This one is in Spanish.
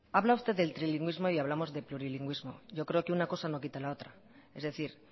habla usted del trilingüismo y hablamos de plurilingüismo yo creo que una cosa no quita la otra es decir